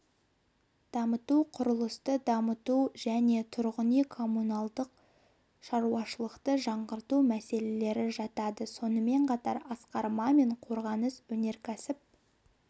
дамыту құрылысты дамыту және тұрғын үй-коммуналдық шаруашылықты жаңғырту мәселелері жатады сонымен қатар асқар мамин қорғаныс-өнеркәсіп